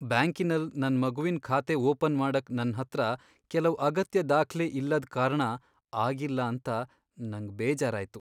ಬ್ಯಾಂಕಿನಲ್ ನನ್ ಮಗುವಿನ್ ಖಾತೆ ಓಪನ್ ಮಾಡಕ್ ನನ್ ಹತ್ರ ಕೆಲವ್ ಅಗತ್ಯ ದಾಖ್ಲೆ ಇಲ್ಲದ್ ಕಾರಣ ಆಗಿಲ್ಲ ಅಂತ ನಂಗ್ ಬೇಜಾರಾಯ್ತು.